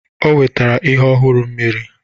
O wetara ihe ọhụrụ mmiri